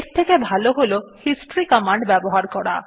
এর থেকে ভালো হল হিস্টরি কমান্ড ব্যবহার করা